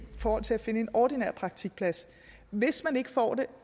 forhold til at finde en ordinær praktikplads hvis man ikke får det